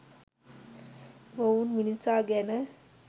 මොවුන් මිනිසා ගැන